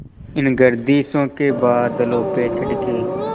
इन गर्दिशों के बादलों पे चढ़ के